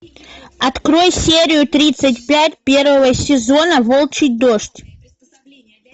открой серию тридцать пять первого сезона волчий дождь